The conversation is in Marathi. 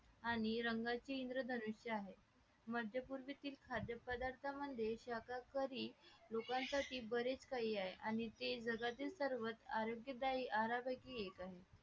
आणि रंगाचे इंद्रधनुष आहे मध्य पूर्वीचे खाद्यपदार्थ म्हणजे शाहकारी लोकांसाठी बरेच काही आहे आणि ते जगातील सर्वात आरोग्यदायी आरा का पैकी एक आहे